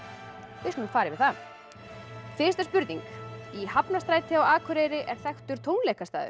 við skulum fara yfir það fyrsta spurning í Hafnarstræti á Akureyri er þekktur